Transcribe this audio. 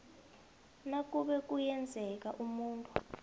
nakube kuyenzeka umuntu